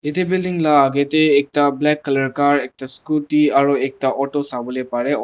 Ete building lah agae dae ekta black colour car ekta scooty aro ekta auto savole parey o--